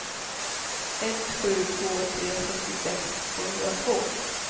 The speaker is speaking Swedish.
ett sju två tre sjuttiosex tvåhundratvå